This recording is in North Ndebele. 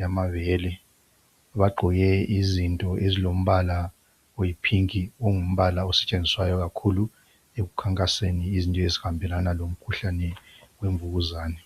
yamabele. Bagqoke izinto ezilombala oyiphinki ongumbala osetshenziswayo kakhulu ekukhankaseni izinto ezihambelana lomkhuhlane wemvukuzane.